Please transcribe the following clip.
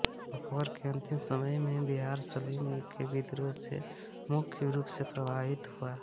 अकबर के अन्तिम समय में बिहार सलीम के विद्रोह से मुख्य रूप से प्रभावित हुआ